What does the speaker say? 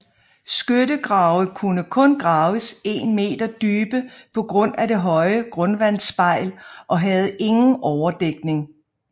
Skyttegrave kunne kun graves en meter dybe på grund af det høje grundvandsspejl og havde ingen overdækning